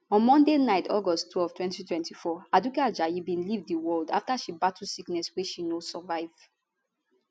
on monday night august twelve 2024 aduke ajayi bin leave di world afta she battle sickness wey she no survive